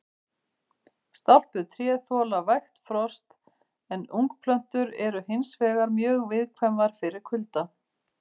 Stálpuð tré þola vægt frost en ungplöntur eru hins vegar mjög viðkvæmar fyrir kulda.